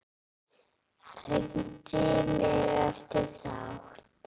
Hringdi í mig eftir þátt.